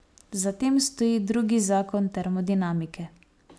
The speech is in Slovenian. Za tem stoji drugi zakon termodinamike.